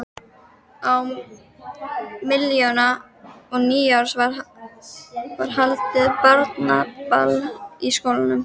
Á milli jóla og nýjárs var haldið barnaball í skólanum.